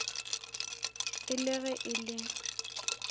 e le ge e le